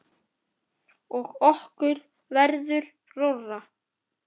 Og okkur verður rórra.